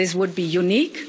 This would be unique